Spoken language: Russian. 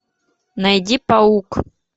найди паук